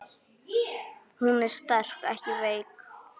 Hún er sterk, ekki veik.